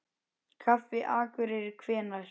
Kaffi Akureyri Hvenær?